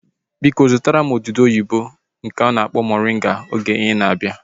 Biko zụtara m odudu oyibo nke a na-akpọ moringa oge ị na-abịa